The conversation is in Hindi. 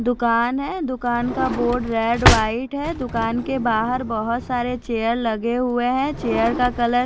दुकान है दुकान का बोर्ड रेड व्हाइट है दुकान के बाहर बहुत सारे चेयर्स रखे हुए है चेयर का कलर --